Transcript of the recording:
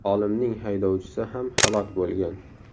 Olimning haydovchisi ham halok bo‘lgan.